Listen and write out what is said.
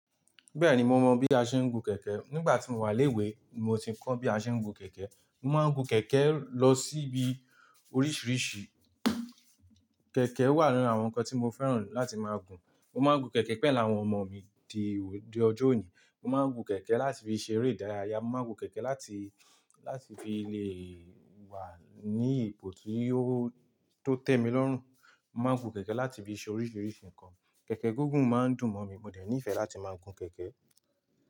Bẹ́ẹ̀ni mo mọ bí a ṣe ń gun kẹ̀kẹ́. Nígbà tí mo wà léwe mo ti kọ́ bí a ṣe ń gun kẹ̀kẹ́. Mo máa ń gun kẹ̀kẹ́ lọ síbi oríṣiríṣi. Kẹ̀kẹ́ wà nínú àwọn ǹkan tí mo fẹ́ràn láti máa gun. Mo máa ń gun kẹ̀kẹ́ pẹ̀lú àwọn ọmọ mi di òde ọjọ́ òní. Mo máa ń gun kẹ̀kẹ́ láti fi ṣe eré ìdárayá. Mo máa ń gun kẹ̀kẹ́ láti, láti fi lè wà ní ipò tió to tẹ́ mi lọ́rùn. Mo máa ń gun kẹ̀kẹ́ láti fi ṣe oríṣiríṣi ǹkan. Kẹ̀kẹ́ gungùn máa ń dùn mọ̀ mí. Mo dẹ̀ nífẹ̀ẹ́ láti máa gun kẹ̀kẹ́